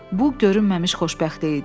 Bu görünməmiş xoşbəxtlik idi.